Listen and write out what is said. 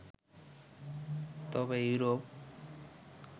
তবে ইউরোপ